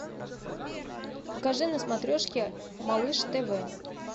покажи на смотрешке малыш тв